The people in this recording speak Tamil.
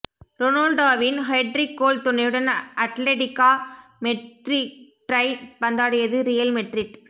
ரொனால்டோவின் ஹெட்ரிக் கோல் துணையுடன் அட்லெடிகோ மெட்ரிட்யை பந்தாடியது ரியல் மெட்ரிட்